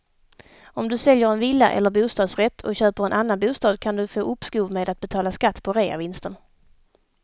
Om du säljer en villa eller bostadsrätt och köper en annan bostad kan du få uppskov med att betala skatt på reavinsten.